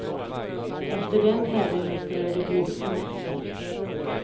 Efter den tävlingen skulle det blivit semester.